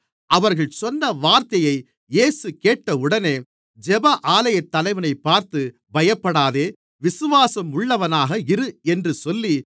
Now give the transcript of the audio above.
அவர்கள் சொன்ன வார்த்தையை இயேசு கேட்டவுடனே ஜெப ஆலயத்தலைவனைப் பார்த்து பயப்படாதே விசுவாசம் உள்ளவனாக இரு என்று சொல்லி